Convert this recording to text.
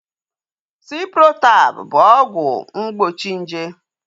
Ciprotab bụ ọgwụ mgbochi nje